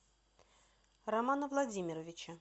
романа владимировича